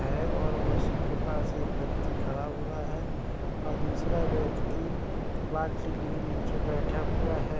है और उसके पास एक व्यक्ति खड़ा हुआ है और दूसरा व्यक्ति बाल्टी लिए नीचे बैठा हुआ है।